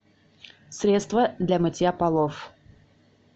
средство для мытья полов